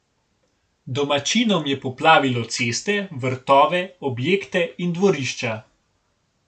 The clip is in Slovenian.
Domačinom je poplavilo ceste, vrtove, objekte in dvorišča.